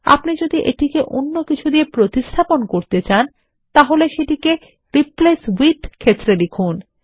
আপনি যদি এটিকে অন্য কিছু দিয়ে প্রতিস্থাপন করতে চান তাহলে সেটিকে রিপ্লেস withক্ষেত্রে লিখুন